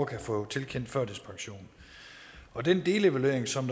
kan få tilkendt førtidspension og den delevaluering som